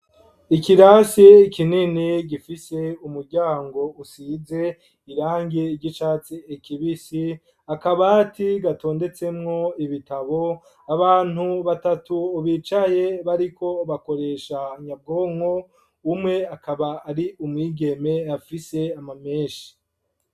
Ikirasi kinini gifise umuryango usize irangi ry'icatsi kibisi akabati gatondetsemwo ibitabo abantu batatu ubicaye bariko bakoresha nyabwonko umwe akaba ari umwigeme afise ama meshi.